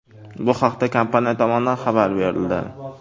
Bu haqda kompaniya tomonidan xabar berildi .